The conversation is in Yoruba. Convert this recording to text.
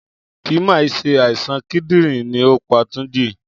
Kì mà í se àìsàn kídìrín ni ó pa Tunji.